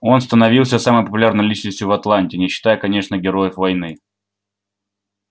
он становился самой популярной личностью в атланте не считая конечно героев войны